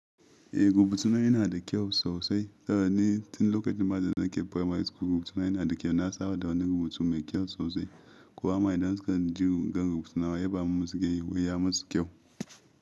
Eh rubutuna yana da kyau sosai saboda ni tun lokacin ma da nake primary school, rubutuna yana da kyau na saba da wannan rubutun mai kyau sosai. Kowama idan suka ji ga rubutuna ya ba min suke wai ya musu kyau.